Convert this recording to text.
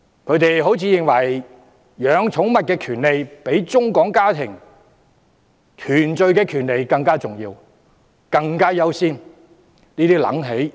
他們好像認為，飼養寵物的權利比中港家庭團聚的權利更重要，更應優先處理。